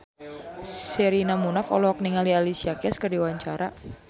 Sherina Munaf olohok ningali Alicia Keys keur diwawancara